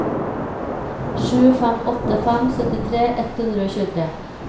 sju fem åtte fem syttitre ett hundre og tjuetre